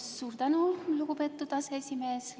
Suur tänu, lugupeetud aseesimees!